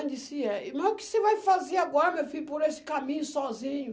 Eu disse, é irmã. O que você vai fazer agora, meu filho, por esse caminho sozinho?